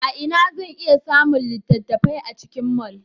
A ina zan iya samun littattafai a cikin mall?